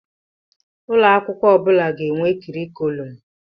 Ụlọ akwụkwọ ọ bụla ga-enwe kọrịkùlum.